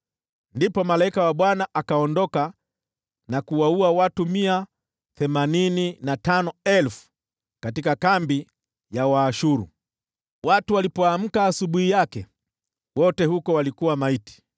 Ndipo malaika wa Bwana akaenda, akawaua wanajeshi 185,000 katika kambi ya Waashuru. Wenzao walipoamka asubuhi yake, walikuta maiti kila mahali!